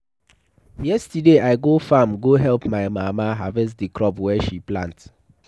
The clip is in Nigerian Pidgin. Yesterday, I go farm go help my mama harvest the crop wey she plant.